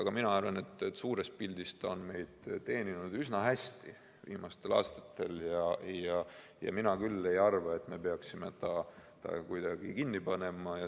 Aga mina arvan, et suures pildis on see meid teeninud viimastel aastatel üsna hästi ja mina küll ei arva, et me peaksime ta kinni panema.